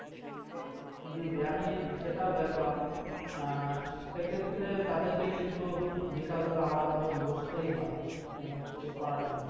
জি জি আমি সেটাও দেখলাম সে ক্ষেত্রে তাদেরকে কিন্তু বিকাল বেলায় আলাদা ভাবে বসতে হয় তাছাড়া কিন্তু উপায় নেই।